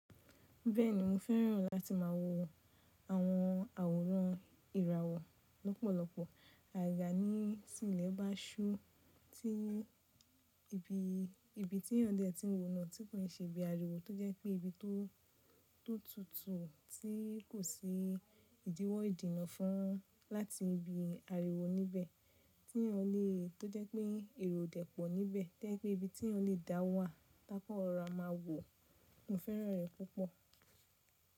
Bẹ́ẹ̀ni mo fẹ́ràn láti má a wò àwọn àwòrán ìràwọ̀ lọ́pọ̀lọpọ̀. Àyà ní sì ilẹ̀ bá ṣú, tí ibi tí ẹ̀yàn dẹ́ ti ń wò náà, tí kò ṣe bí àríwó tó jẹ́ pé ibi tó tutù tí kò sí ìdíwọ́ ìdínna fún láti ibi àríwó níbẹ̀ tí ẹni ọ̀lẹ tó jẹ́ pé èrò o dẹ̀ pọ̀ níbẹ̀ to je pe jẹ́ pẹ́ ibi tí ẹyan lẹ dà wá. Tákan rọ̀rá máa wò, mo fẹ́ràn rẹ̀ púpọ̀.